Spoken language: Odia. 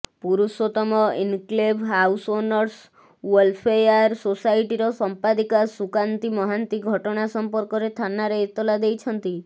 ପୁରୁଷୋତ୍ତମ ଏନକ୍ଲେଭ୍ ହାଉସ୍ଓନର୍ସ ଓ୍ବଲ୍ଫେୟାର ସୋସାଇଟିର ସମ୍ପାଦିକା ସୁକାନ୍ତି ମହାନ୍ତି ଘଟଣା ସମ୍ପର୍କରେ ଥାନାରେ ଏତଲା ଦେଇଛନ୍ତି